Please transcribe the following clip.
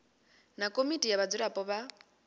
na komiti ya vhadzulapo vha